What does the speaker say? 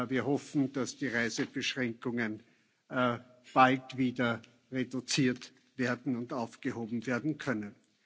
Wir hoffen, dass die Reisebeschränkungen bald wieder reduziert werden und aufgehoben werden können.